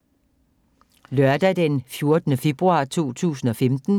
Lørdag d. 14. februar 2015